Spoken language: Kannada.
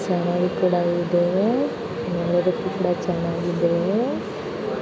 ಇದು. ನೋಡೊಡುಕ್ಕೆ ತುಂಬಾ ಚೆನ್ನಾಗಿದೆ .